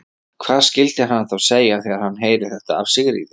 Hvað skyldi hann þá segja, þegar hann heyrir þetta af Sigríði?